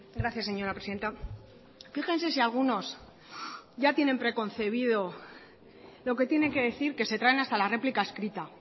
gracias señora presidenta fíjense si algunos ya tienen preconcebido lo que tienen que decir que se traen hasta la réplica escrita